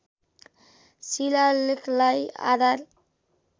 शिलालेखलाई आधार